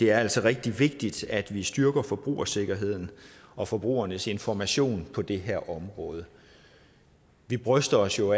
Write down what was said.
er rigtig vigtigt at vi styrker forbrugersikkerheden og forbrugernes information på det her område vi bryster os jo